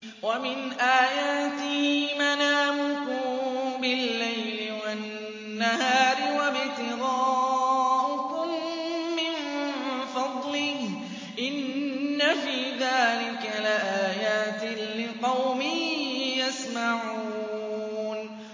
وَمِنْ آيَاتِهِ مَنَامُكُم بِاللَّيْلِ وَالنَّهَارِ وَابْتِغَاؤُكُم مِّن فَضْلِهِ ۚ إِنَّ فِي ذَٰلِكَ لَآيَاتٍ لِّقَوْمٍ يَسْمَعُونَ